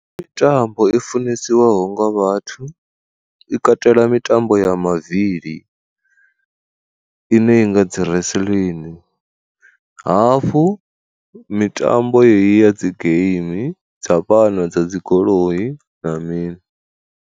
Mitambo i funesiwaho nga vhathu i katela mitambo ya mavili ine i nga dzi wrestling, hafhu mitambo yeyi ya dzi game dza vhana dza dzigoloi na mini.